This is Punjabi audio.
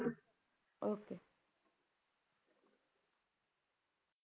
Okay